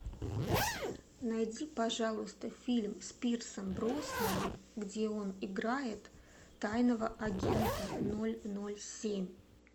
найди пожалуйста фильм с пирсом броснаном где он играет тайного агента ноль ноль семь